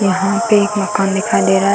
वहाँ पे एक मकान दिखाई दे रहा है।